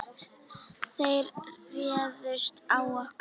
Þeir réðust á okkur.